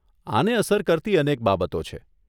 આને અસર કરતી અનેક બાબતો છે.